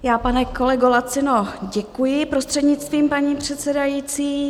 Já, pane kolego Lacino, děkuji, prostřednictvím paní předsedající.